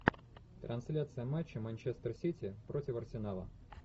трансляция матча манчестер сити против арсенала